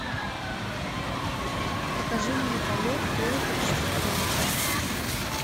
покажи мне полет перед рождеством